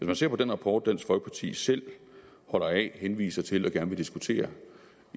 man ser på den rapport dansk folkeparti selv holder af henviser til og gerne vil diskutere